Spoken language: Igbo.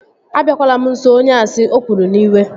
Abiakwala m nso onye asị! O kwuru n'iwe